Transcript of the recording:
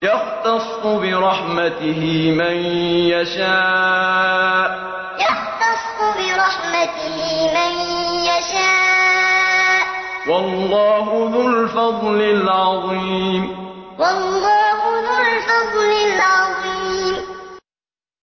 يَخْتَصُّ بِرَحْمَتِهِ مَن يَشَاءُ ۗ وَاللَّهُ ذُو الْفَضْلِ الْعَظِيمِ يَخْتَصُّ بِرَحْمَتِهِ مَن يَشَاءُ ۗ وَاللَّهُ ذُو الْفَضْلِ الْعَظِيمِ